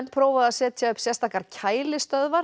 prófað að setja upp sérstakar